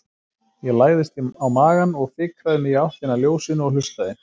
Ég lagðist á magann og fikraði mig í áttina að ljósinu og hlustaði.